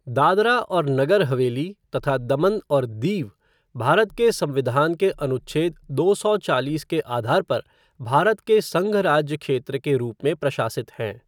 दादरा और नगर हवेली तथा दमन और दीव भारत के संविधान के अनुच्छेद दो सौ चालीस के आधार पर भारत के संघ राज्य क्षेत्र के रूप में प्रशासित हैं।